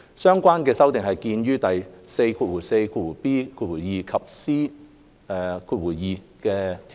相關修訂見於第 44b 及 c 條。